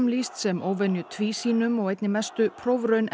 lýst sem óvenju tvísýnum og einni mestu prófraun